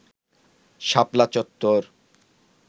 শাপলা চত্বর